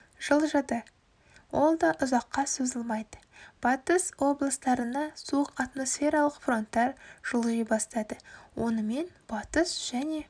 жылжыды ол да ұзаққа созылмайды батыс облыстарына суық атмосфералық фронттар жылжи бастады онымен батыс және